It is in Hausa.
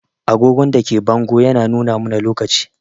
Agogon da ke bango yana nuna mana lokaci.